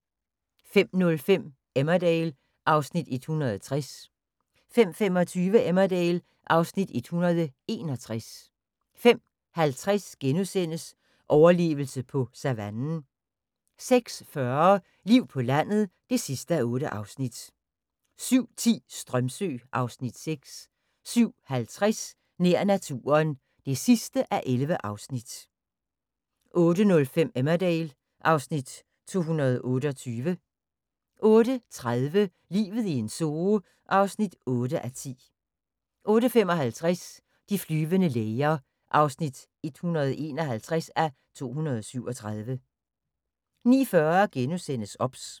05:05: Emmerdale (Afs. 160) 05:25: Emmerdale (Afs. 161) 05:50: Overlevelse på savannen * 06:40: Liv på landet (8:8) 07:10: Strömsö (Afs. 6) 07:50: Nær naturen (11:11) 08:05: Emmerdale (Afs. 228) 08:30: Livet i en zoo (8:10) 08:55: De flyvende læger (151:237) 09:40: OBS *